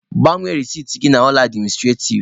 Gbanwe resiti gị na ụlọ administrativ!